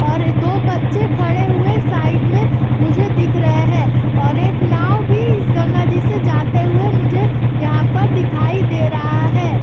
और दो बच्चे खड़े हुए साइड में मुझे दिख रहे हैं और एक नाव भी इस गंगा जी से जाते हुए मुझे यहाँ पर दिखाई दे रहा है।